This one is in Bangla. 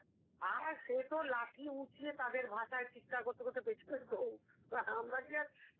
আর সে তো লাঠি উঁচিয়ে তাদের ভাষায় চিৎকার করতে করতে পেছনে দৌড় আমরা কি আর,